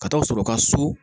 Ka taa sɔrɔ u ka so